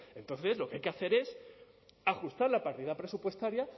entonces lo que hay que hacer es ajustar la partida presupuestaria